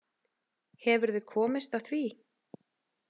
Hefurðu komist að því?